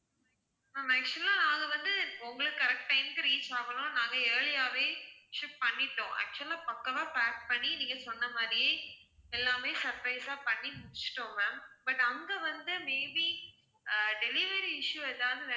ma'am actual ஆ நாங்க வந்து, உங்களுக்கு correct time க்கு reach ஆகணும்னு நாங்க early யாவே ship பண்ணிட்டோம் actual ஆ பக்காவா pack பண்ணி நீங்க சொன்ன மாதிரியே, எல்லாமே surprise ஆ பண்ணி முடிச்சிட்டோம் ma'am but அங்க வந்து may be ஆஹ் delivery issue ஏதாவது,